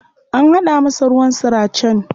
An haɗa masa ruwan suracen.